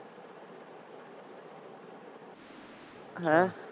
ਹੈਂ?